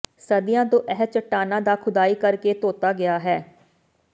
ਸਦੀਆਂ ਤੋਂ ਇਹ ਚੱਟਾਨਾਂ ਦਾ ਖੁਦਾਈ ਕਰਕੇ ਧੋਤਾ ਗਿਆ ਹੈ